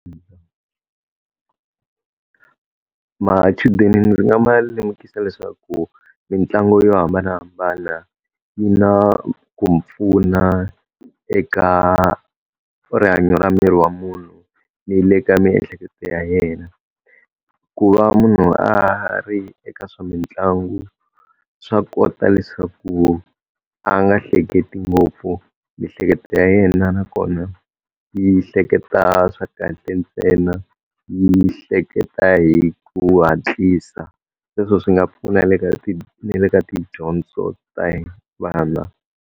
Machudeni ni nga ma lemukisa leswaku mitlangu yo hambanahambana yi na ku pfuna eka rihanyo ra miri wa munhu, ni le ka miehleketo ya yena. Ku va munhu a ri eka swa mitlangu swa kota leswaku a nga hleketi ngopfu, miehleketo ya yena nakona yi hleketa swa kahle ntsena, yi hleketa hi ku hatlisa. Sweswo swi nga pfuna ni le ka tidyondzo ta vana.